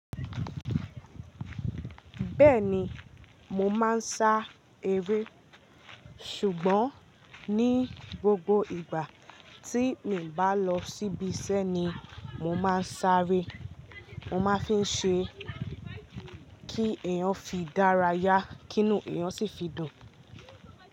Bẹ́ẹ̀ni mo máa ń sá eré, ṣùgbọ́n ní gbogbo ìgbà tí mi o bá lọ síbi iṣẹ́ ni mo máa ń sáré. Mo máa ń fi ṣe kí eeyàn fi dárayá, kí inú eeyàn sì fi dùn.